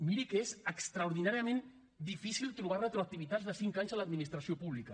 miri que és extraordinàriament difícil trobar retroactivitats de cinc anys en l’administració pública